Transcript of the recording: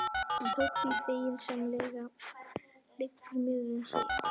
Hann tók því feginsamlega, liggur mér við að segja.